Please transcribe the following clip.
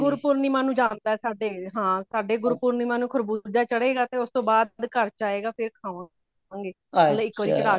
ਗੁਰਪੁਰਨਿਮਾ ਨੂੰ ਜਾਂਦਾ ਵੇ ਸਾਡੇ ਹਾਂ ਸਾਡੇ ਗੁਰਪੁਰਨਿਮਾ ਨੂੰ ਖਰਬੂਜ਼ਾ ਚੜੇ ਗਾ ਤੇ ਉਸਦੇ ਬਾਧ ਘਰ ਚ ਆਏਗਾ ਫੇਰ ਖਾਵਾਂਗੇ ਮਤਲਬ ਇੱਕ ਵਾਰੀ ਚੜਾ ਕੇ